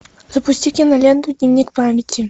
запусти киноленту дневник памяти